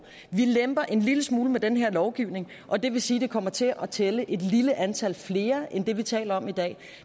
vi lemper en lille smule med den her lovgivning og det vil sige det kommer til at tælle et lille antal flere end det vi taler om i dag